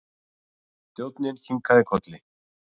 Þjónninn kinkaði kolli.